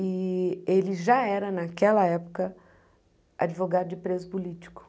E ele já era, naquela época, advogado de preso político.